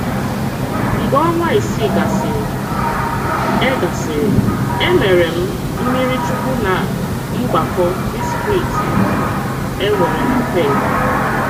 Mgbe ọnwa isii gasịrị, e gasịrị, e mere m mmiri chukwu ná mgbakọ distrikti e nwere na Perth.